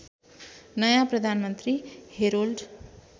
नयाँ प्रधानमन्त्री हेरोल्ड